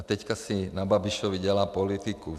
A teďka si na Babišovi dělá politiku.